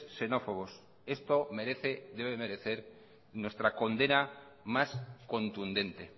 xenófobos esto merece debe merecer nuestra condena más contundente